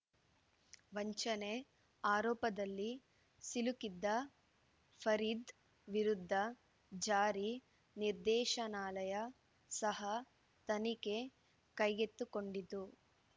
ವಂಚನೆ ಆರೋಪದಲ್ಲಿ ಸಿಲುಕಿದ್ದ ಫರೀದ್‌ ವಿರುದ್ಧ ಜಾರಿ ನಿರ್ದೇಶನಾಲಯ ಸಹ ತನಿಖೆ ಕೈಗೆತ್ತಿಕೊಂಡಿತ್ತು